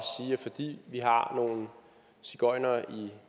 vi fordi vi har nogle sigøjnere i